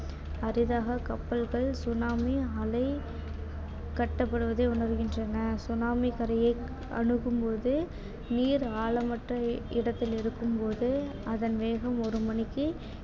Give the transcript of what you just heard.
அரிதாக கப்பல்கள் tsunami அலை கட்டப்படுவதை உணருகின்றன tsunami கரையை அணுகும்போது நீர் ஆழமற்ற இடத்தில் இருக்கும்போது அதன் வேகம் ஒரு மணிக்கு